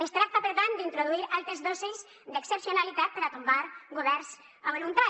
es tracta per tant d’introduir altes dosis d’excepcionalitat per a tombar governs a voluntat